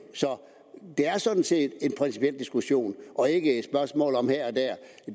så det er sådan set en principiel diskussion og ikke